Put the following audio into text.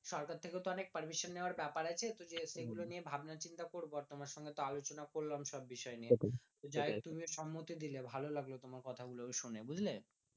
সরকার থেকেও তো অনেক permission নেওয়ার ব্যাপার আছে তো যে সেগুলো নিয়ে ভাবনা চিন্তে করবো আর তোমার সঙ্গে তো আলোচনা করলাম সব বিষয় নিয়ে তো যাইহোক তুমিও সম্মতি দিলে ভালো লাগলো তোমার কথা গুলো বেশ শুনে বুঝলে